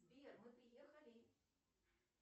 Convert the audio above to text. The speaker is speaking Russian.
сбер мы приехали